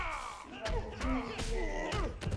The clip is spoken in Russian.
валентина сенюкова